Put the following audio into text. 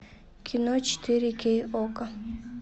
кино четыре кей окко